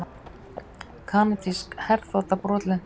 Kanadísk herþota brotlenti